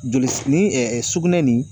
Joli ni sugunɛ nin